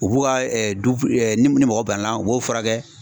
U b'u ka du ni magɔ banna u b'o furakɛ.